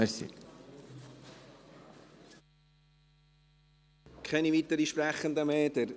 Ich habe keine weiteren Sprechenden mehr.